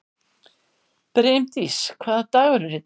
Brimdís, hvaða dagur er í dag?